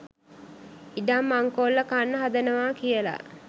ඉඩම් මංකොල්ල කන්න හදනවා කියලා